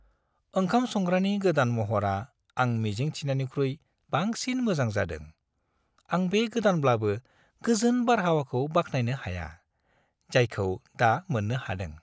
ओंखाम संग्रानि गोदान महरआ आं मिजिं थिनायनिख्रुइ बांसिन मोजां जादों; आं बे गोदानब्लाबो गोजोन बारहावाखौ बाख्नायनो हाया, जायखौ दा मोननो हादों।